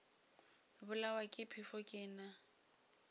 bolawa ke phefo ke na